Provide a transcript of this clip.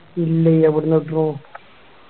ഇല്ലേയ് എവിടുന്ന് കിട്ടുണു